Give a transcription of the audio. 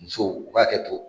Musow ka hakɛ to